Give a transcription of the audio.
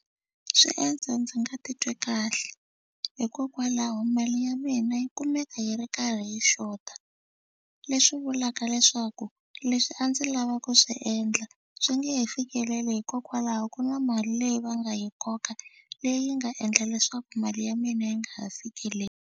Swi endla ndzi nga titwi kahle hikokwalaho mali ya mina yi kumeka yi ri karhi yi xota leswi vulaka leswaku leswi a ndzi lava ku swi endla swi nge he fikeleli hikokwalaho ku na mali leyi va nga yi koka leyi nga endla leswaku mali ya mina yi nga ha fikeleli.